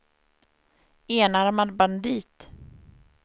enarmad bandit